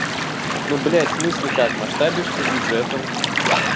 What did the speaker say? ну блять в смысле как масштабишься бюджетом